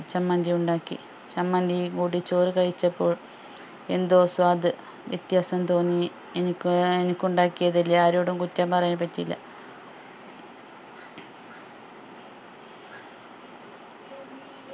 ചമ്മന്തി ഉണ്ടാക്കി ചമ്മന്തിയും കൂട്ടി ചോറ് കഴിച്ചപ്പോൾ എന്തോ സ്വാദ് വ്യത്യാസം തോന്നി എനിക്ക് ഏർ എനിക്ക് ഉണ്ടാക്കിയതല്ലേ ആരോടും കുറ്റം പറയാൻ പറ്റില്ല